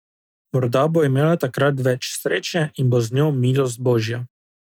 Morda bo imela takrat več sreče in bo z njo milost božja.